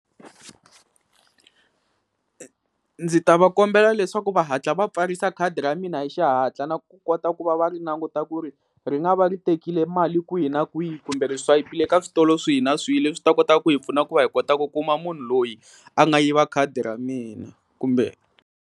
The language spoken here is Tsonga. Ndzi ta va kombela leswaku va hatla va pfarisa khadi ra mina hi xihatla na ku kota ku va va ri languta ku ri ri nga va ri tekile mali kwihi na kwihi kumbe ri swayipile ka switolo swihi na swihi leswi swi ta kotaka ku hi pfuna ku va hi kota ku kuma munhu loyi a nga yiva khadi ra mina kumbe.